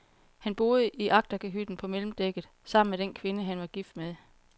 Han boede i agterkahytten på mellemdækket, sammen med den kvinde, han var gift med.